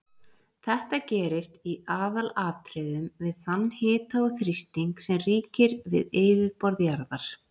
Þetta gerist í aðalatriðum við þann hita og þrýsting sem ríkir við yfirborð jarðar.